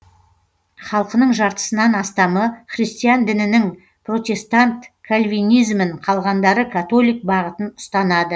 халқының жартысынан астамы христиан дінінің протестант кальвинизмін қалғандары католик бағытын ұстанады